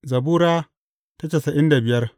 Zabura Sura casa'in da biyar